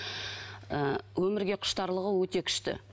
ы өмірге құштарлығы өте күшті